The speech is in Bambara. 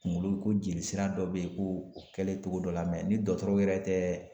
Kunkolo ko jeli sira dɔ bɛ yen, ko o kɛlen togo dɔ la ni dɔgɔtɔrɔw yɛrɛ tɛ